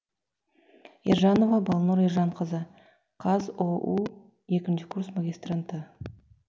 ержанова балнұр ержанқызы қазұу екінші курс магистранты